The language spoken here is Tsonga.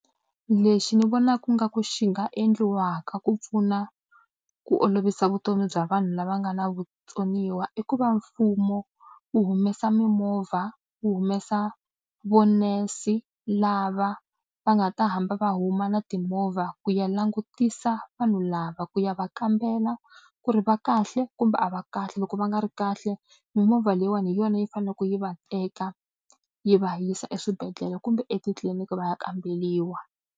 Lexi ni vonaka nga ku xi nga endliwaka ku pfuna ku olovisa vutomi bya vanhu lava nga na vutsoniwa i ku va mfumo wu humesa mimovha, wu humesa masene lava va nga ta hamba va huma na timovha ku ya langutisa vanhu lava ku ya va kambela ku ri va kahle kumbe a va kahle. Loko va nga ri kahle mimovha leyiwani hi yona yi faneleke yi va teka yi va yisa eswibedhlele kumbe etitliliniki va ya kamberiwa.